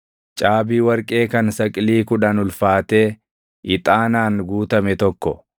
caabii warqee kan saqilii kudhan ulfaatee ixaanaan guutame tokko,